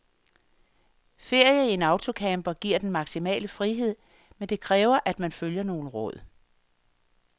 Ferie i en autocamper giver den maksimale frihed, men det kræver at man følger nogle råd.